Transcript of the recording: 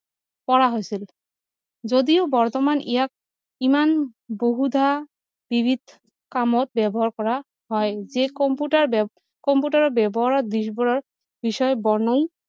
কৰা হৈছিল যদিও বৰ্তমান ইয়াক ইমান বহুধা কামত ব্যৱহাৰ কৰা হয় যি কম্পিউটাৰ কম্পিউটাৰ ব্যৱহাৰ দিশ বোৰৰ বিষয়ে বৰ্নাই